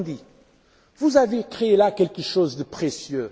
Il nous a dit Vous avez créé quelque chose de précieux.